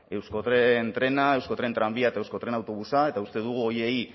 euskotrena euskotren tranbia eta euskotren autobusa eta uste dugu horiei